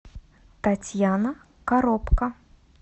татьяна коробко